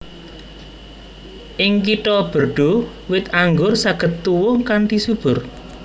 Ing Kitha Bordeaux wit anggur saged tuwuh kanthi subur